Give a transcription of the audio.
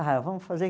Ah, vamos fazer.